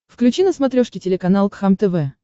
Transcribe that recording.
включи на смотрешке телеканал кхлм тв